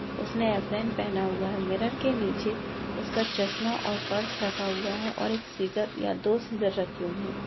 उसने अप्रन पहना हुआ है मिरर के नीच उसका चषमा और पर्स रखा हुआ है और एक सीजर या दो सीजर रखे हुए है।